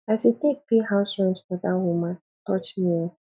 as you take pay house rent for dat woman touch me o